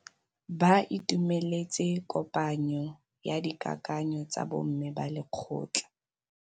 Ba itumeletse kôpanyo ya dikakanyô tsa bo mme ba lekgotla.